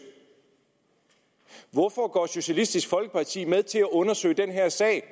hvorfor går socialistisk folkeparti med til at undersøge den her sag